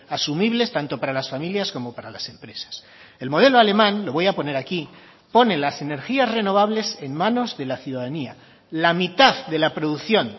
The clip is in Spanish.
asumibles tanto para las familias como para las empresas el modelo alemán lo voy a poner aquí pone las energías renovables en manos de la ciudadanía la mitad de la producción